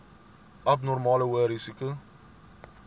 abnormale hoë risiko